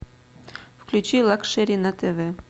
включи лакшери на тв